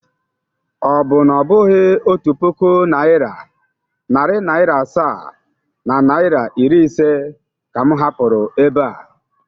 Ọ bụ na ọ bụghị otu puku naịra, narị naịra asaa na naịra iri ise ka m hapụrụ ebe a?